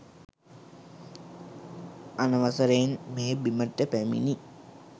අනවසරයෙන් මේ බිමට පැමිණි